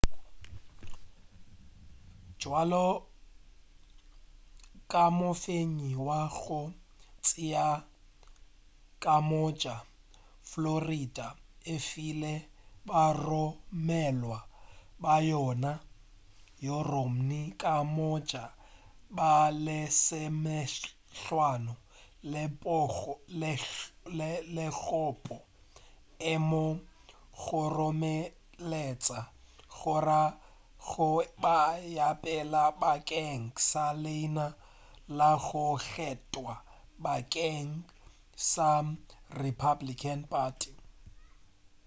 bjalo ka mofenyi wa go tšea ka moka florida e file baromelwa ba yona go romney ka moka ba lesomehlano megopo e mo kgoromeletša go ya go ba wa pele bakeng sa leina la go kgethwa bakeng sa republican party